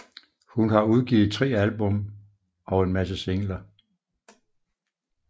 Hun har udgivet tre album og en masse singler